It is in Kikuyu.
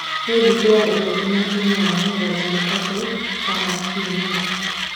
ni thĩkũ ya ĩkũmĩ na ĩnyanya ya jumatatũ kana kĩumĩa